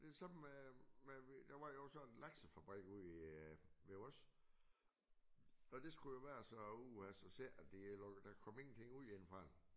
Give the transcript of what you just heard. Det det samme med med der var jo sådan en laksefabrik ude i ved os og det skulle jo være så uha så ser jeg de har lukket der kom ingenting ud indefra